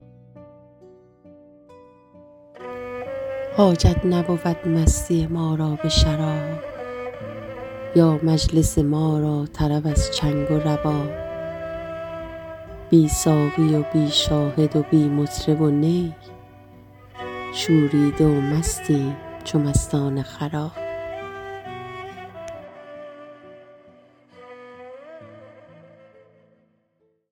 حاجت نبود مستی ما را به شراب یا مجلس ما را طرب از چنگ و رباب بی ساقی و بی شاهد و بی مطرب و نی شوریده و مستیم چو مستان خراب